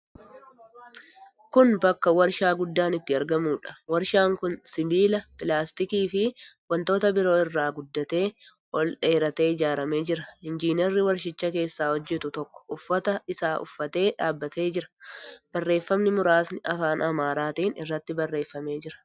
Kun bakka warshaa guddaan itti argamuudha. Warshaan kun sibiila, pilaastikiifi wantoota biroo irraa guddatee, ol dheeratee ijaaramee jira. Injiinarri warshicha keessaa hojjetu tokko uffata hojii isaa uffatee dhaabbatee jira. Barreeffamni muraasni afaan Amaaraatiin irratti barreeffamee jira.